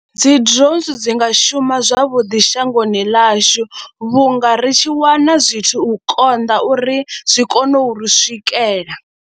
Dzi drones dzi nga shuma zwavhuḓi shangoni ḽashu vhunga ri tshi wana zwithu u konḓa uri zwi kone u ri swikela.